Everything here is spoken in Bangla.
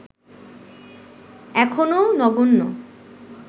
এখনো নগণ্য